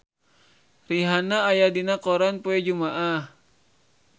Rihanna aya dina koran poe Jumaah